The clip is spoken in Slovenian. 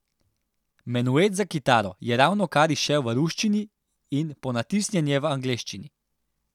Menuet za kitaro je ravnokar izšel v ruščini in ponatisnjen je v angleščini.